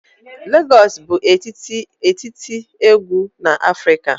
Lagos bụ etiti egwu na Afrika.